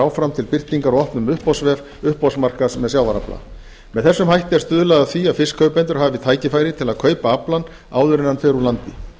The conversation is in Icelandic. áfram til birtingar á opnum uppboðsvef uppboðsmarkaðar með sjávarafla með þessum hætti er stuðlað að því að fiskkaupendur hafi tækifæri til að kaupa aflann áður en hann fer úr landi